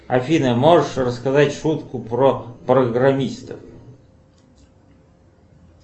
афина можешь рассказать шутку про программистов